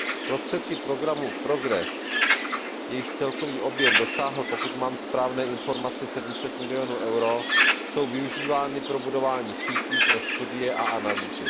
Prostředky programu PROGRESS, jejichž celkový objem dosáhl, pokud mám správné informace, 700 milionů eur, jsou využívány pro budování sítí pro studie a analýzy.